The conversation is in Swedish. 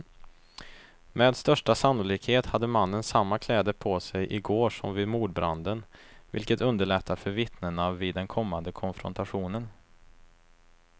Med största sannolikhet hade mannen samma kläder på sig i går som vid mordbranden, vilket underlättar för vittnena vid den kommande konfrontationen.